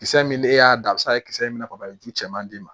Kisɛ min ne y'a dan a bi se ka kɛ kisɛ min bɛ ka ju cɛman d'i ma